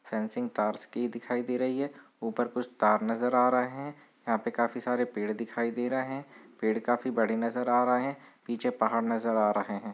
Fencing तारस की दिखाई दे रही है ऊपर कुछ तार नज़र आ रहा है यहाँ पे काफी सारे पेड़ दिखाई दे रहे है पेड़ काफी बड़े नज़र आ रहे है पीछे पहाड़ नज़र आ रहे है।